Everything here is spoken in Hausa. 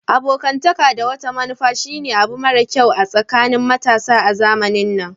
Abokantaka da wata manufa shine abu mara kyau a tsakanin matasa a zamanin nan.